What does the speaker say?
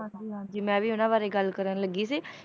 ਹਾਂਜੀ ਹਾਂਜੀ ਮੈਂ ਵੀ ਉਹਨਾਂ ਬਾਰੇ ਗੱਲ ਕਰਨ ਲੱਗੀ ਸੀ,